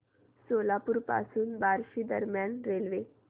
सोलापूर पासून बार्शी दरम्यान रेल्वे